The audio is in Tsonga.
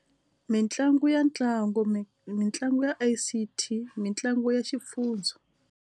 Mitlangu ya ntlangu mi mitlangu ya I_C_T mitlangu ya xifundza.